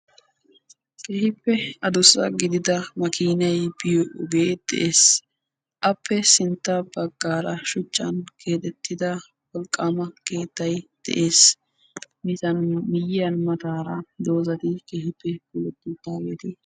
Keehippe addussa gididda makkiinay biyoo ogee beettees. Appe sintta baggaara shuchchan keexettida wolqqama keettay de'ees. Miizzaappe miyiyaa mataara dozatti keepe uttidaageeti